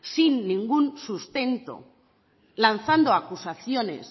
sin ningún sustento lanzando acusaciones